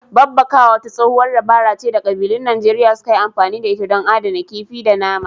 Babbakawa wata tsohuwar dabara ce da ƙabilun Najeriya suka yi amfani da ita don adana kifi da nama.